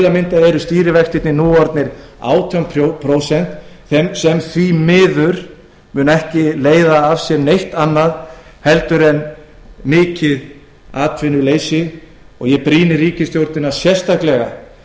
eru stýrivextirnir nú orðnir átján prósent sem því miður mun ekki leiða af sér neitt annað en mikið atvinnuleysi brýni ég því ríkisstjórnina sérstaklega